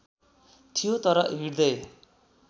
थियो तर हृदय